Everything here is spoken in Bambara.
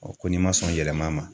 ko n'i ma sɔn yɛlɛma ma.